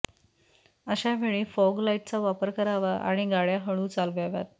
अशावेळी फॉग लाईटचा वापर करावा आणि गाड्या हळू चालवाव्यात